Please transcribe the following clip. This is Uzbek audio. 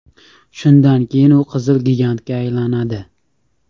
Shundan keyin u qizil gigantga aylanadi.